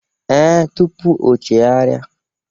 Ee, tupu o chegharia.